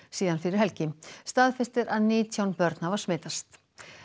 síðan fyrir helgi staðfest er að nítján börn hafa smitast